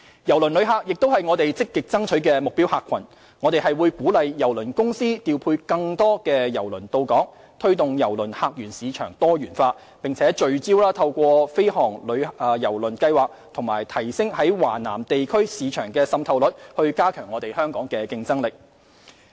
郵輪旅客亦是我們積極爭取的目標客群，我們會鼓勵郵輪公司調配更多郵輪到港，推動郵輪客源市場多元化，並聚焦透過飛航郵輪計劃及提升在華南地區市場的滲透率以加強香港的競爭力。